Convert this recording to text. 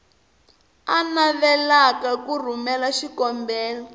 a navelaka ku rhumela xikombelo